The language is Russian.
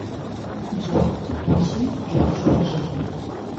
джой включи джорджио джи